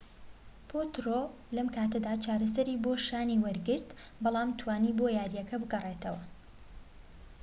پۆترۆ لەم کاتەدا چارەسەری بۆ شانی وەرگرت بەڵام توانی بۆ یارییەکە بگەڕێتەوە